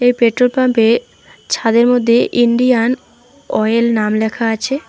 Petrol পাম্পে ছাদের মধ্যে ইন্ডিয়ান ওয়েল নাম লেখা আছে।